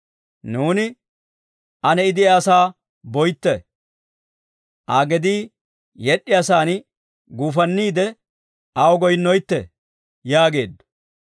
Nuuni, «Ane I de'iyaasaa boytte; Aa gedii yed'd'iyaasaan guufanniide, aw goyinneetto» yaageeddo.